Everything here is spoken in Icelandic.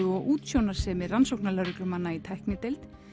og útsjónarsemi rannsóknarlögreglumanna í tæknideild